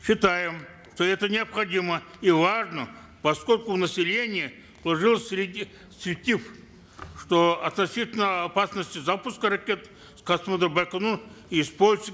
считаем что это необходимо и важно поскольку у населения сложился что относительно опасности запуска ракет с космодрома байконур